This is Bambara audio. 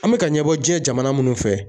An be ka ɲɛbɔ jiɲɛ jamana munnu fɛ